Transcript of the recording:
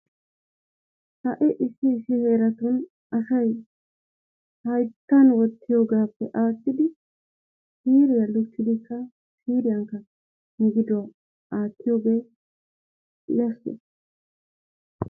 Ha'i issi issi heeratun asay hayittan wottiyogaappe aattidi siiriya lukkidikka siiriyankka migiduwa aattiyogee yashshees.